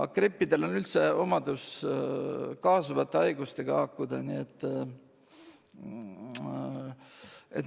Grippidel on üldiselt omadus haakuda kaasuvate haigustega.